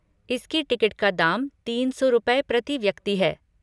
इसकी टिकट का दाम तीन सौ रुपये प्रति व्यक्ति है।